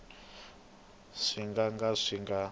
swi nga ka swi nga